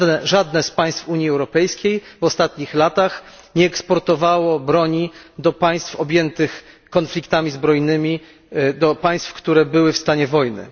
Żadne z państw Unii Europejskiej w ostatnich latach nie eksportowało broni do państw objętych konfliktami zbrojnymi, do państw, które były w stanie wojny.